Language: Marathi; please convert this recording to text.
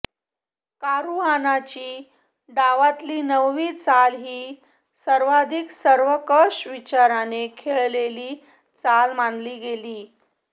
कारुआनाची डावातील नववी चाल ही सर्वाधिक सर्वंकष विचाराने खेळलेली चाल मानली गेली